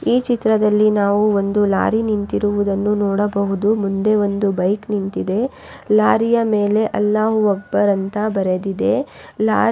ಯಾ ಮೇಲೆ ಒಂದು ನೀಲಿ ಬಣ್ಣದ ಟಾರ್ಪಲ್ ಕೂಡ ಇದೆ ಲಾರಿಯು ಕಾಫೀ ಬಣ್ಣದಾಗಿದೆ.